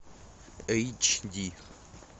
эйч ди